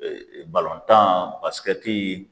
tan basikɛti